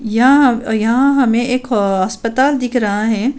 या यहाँ हमे एक हो अस्‍पताल दिख रहा है।